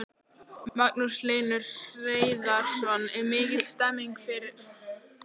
Magnús Hlynur Hreiðarsson: Er mikil stemning fyrir þessu?